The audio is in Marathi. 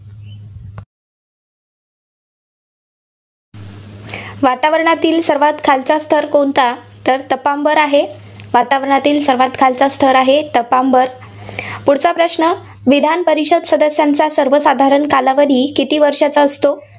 वातावरणातील सर्वांत खालचा स्थर कोणता? तर तपांबर आहे वातावरणातील सर्वांत खालचा स्थर आहे तपांबर. पुढचा प्रश्न विधान परिषद सदस्यांचा सर्वसाधारण कालावधी किती वर्षांचा असतो?